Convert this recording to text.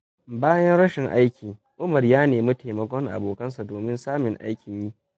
Bayan rashin aiki, Umar ya nemi taimakon abokansa domin samun aikin yi.